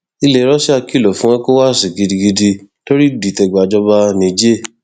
ilẹ russia kìlọ fún ecowási gidigidi lórí ìdìtẹgbàjọba niger